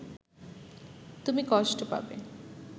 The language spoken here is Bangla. তুমি কষ্ট পাবে